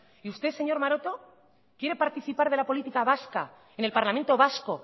y usted señor maroto quiere participar de la política vasca en el parlamento vasco